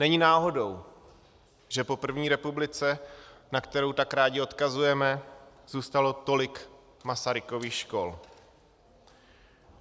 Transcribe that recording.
Není náhodou, že po první republice, na kterou tak rádi odkazujeme, zůstalo tolik Masarykových škol.